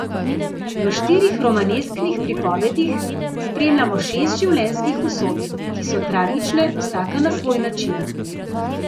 V štirih romanesknih pripovedih spremljamo šest življenjskih usod, ki so tragične vsaka na svoj način.